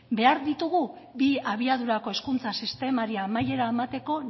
behar ditugu bi abiadurako hezkuntza sistemari amaiera emateko